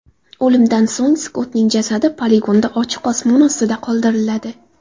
O‘limdan so‘ng Skottning jasadi poligonda ochiq osmon ostida qoldiriladi.